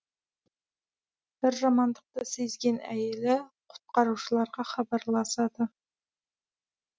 бір жамандықты сезген әйелі құтқарушыларға хабарласады